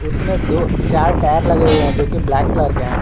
उसमें दो चार टायर लगे हुए हैं जो की ब्लैक क्लर के हैं।